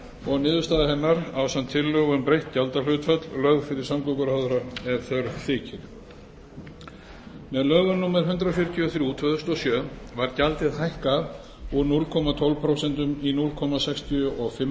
og niðurstaða hennar ásamt tillögu um breytt gjaldhlutfall lögð fyrir samgönguráðherra ef þörf þykir með lögum númer hundrað fjörutíu og þrjú tvö þúsund og sjö var gjaldið hækkað úr núll komma tólf prósent í núll komma sextíu og fimm